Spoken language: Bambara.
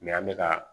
an bɛ ka